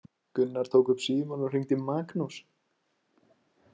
Gunnar tók upp símann og hringdi í Magnús.